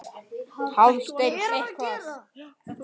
Hafsteinn: Eitthvað?